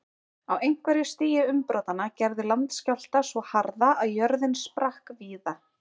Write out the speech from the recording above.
Á einhverju stigi umbrotanna gerði landskjálfta svo harða að jörðin sprakk víða.